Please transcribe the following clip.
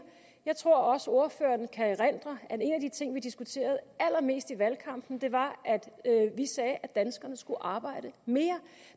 jeg tror også ordføreren kan erindre at en af de ting vi diskuterede allermest i valgkampen var at vi sagde at danskerne skulle arbejde mere